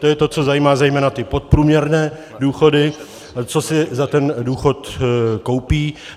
To je to, co zajímá zejména ty podprůměrné důchody, co si za ten důchod koupí.